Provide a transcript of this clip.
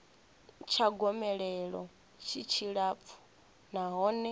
tsha gomelelo tshi tshilapfu nahone